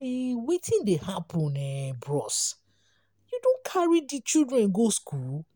wetin dey happen um bros? you don carry di children go skool?